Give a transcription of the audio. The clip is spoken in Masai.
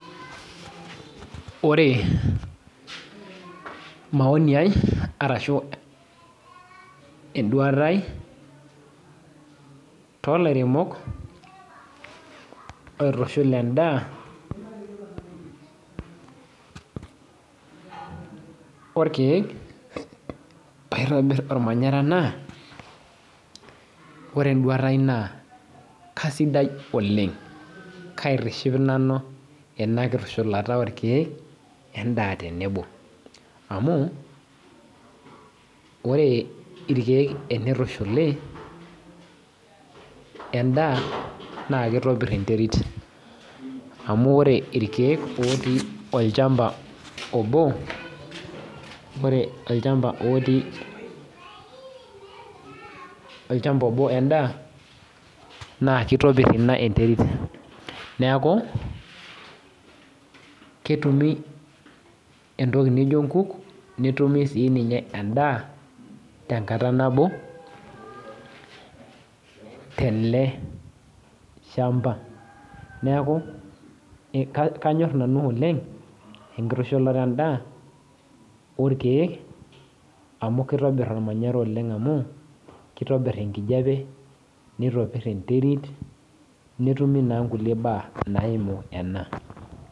Ore maoni ai, arashu eduata ai, tolairemok oitushul endaa orkeek paitobir ormanyara naa, kore eduata ai naa kasidai oleng. Kaitiship nanu ina kitushulata orkeek, endaa tenebo. Amu, ore irkeek enitushuli, endaa, na kitopir enterit. Amu ore irkeek otii olchamba obo, ore olchamba otii, olchamba obo endaa, naa kitopir ina enterit. Neeku, ketumi entoki nijo nkuk, netumi si ninye endaa, tenkata nabo, tele shamba. Neeku kanyor nanu oleng, enkitushulata endaa, orkeek, amu kitobir ormanyara oleng amu, kitobir enkijape, nitopir enterit, netumi naa nkulie baa naimu ena.